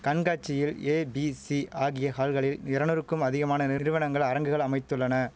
கண்காட்சியில் ஏபிசி ஆகிய ஹால்களில் எரநூறுக்கும் அதிகமான நிறுவனங்கள் அரங்குகள் அமைத்துள்ளன